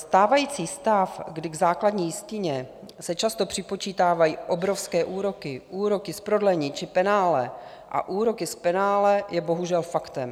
Stávající stav, kdy k základní jistině se často připočítávají obrovské úroky, úroky z prodlení či penále a úroky z penále je bohužel faktem.